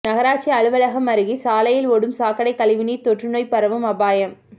நகராட்சி அலுவலகம் அருகே சாலையில் ஓடும் சாக்கடை கழிவுநீர் தொற்றுநோய் பரவும் அபாயம்